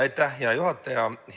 Aitäh, hea juhataja!